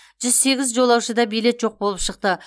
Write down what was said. жүз сегіз жолаушыда билет жоқ болып шықты